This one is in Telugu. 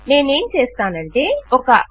నేనేం చేస్తానంటే ఒక160